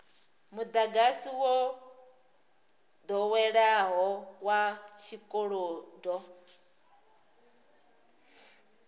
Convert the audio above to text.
mudagasi wo doweleaho wa tshikolodo